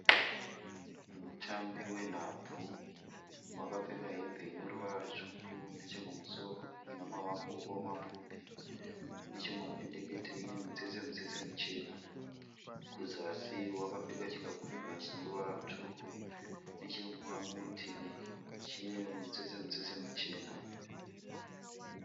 Mutambi wenhabvu wakapfeka hembe ineruvara rwutsvuku nechekumusoro inamaoko mapfupi, nechemumapendekete ine mitsetsemitsetse michena. Kuzasi wakapfeka chikabudura chineruvara rwutsvuku nechemurutivi chine mutsetsemutsetse muchena.